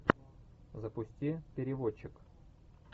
запусти переводчик